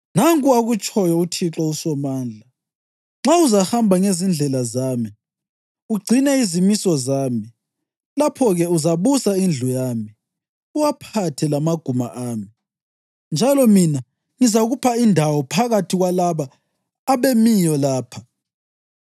“Nanku akutshoyo uThixo uSomandla: ‘Nxa uzahamba ngezindlela zami ugcine izimiso zami, lapho-ke uzabusa indlu yami, uwaphathe lamaguma ami, njalo mina ngizakupha indawo phakathi kwalaba abemiyo lapha.